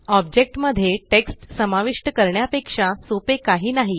object मध्ये text समाविष्ट करण्यापेक्षा सोपे काही नाही